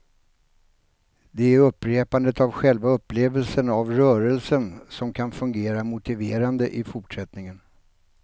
Det är upprepandet av själva upplevelsen av rörelsen som kan fungera motiverande i fortsättningen.